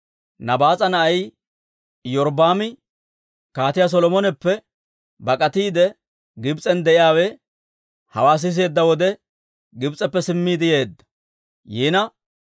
Nabaas'a na'ay Iyorbbaami, Kaatiyaa Solomoneppe bak'atiide Gibs'en de'iyaawe hawaa siseedda wode, Gibs'eppe simmiide yeedda.